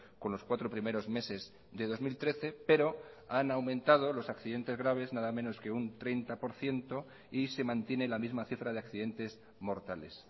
con los cuatro primeros meses de dos mil trece pero han aumentado los accidentes graves nada menos que un treinta por ciento y se mantiene la misma cifra de accidentes mortales